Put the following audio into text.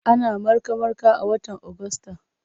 Ana marka-marka a watan Agusta.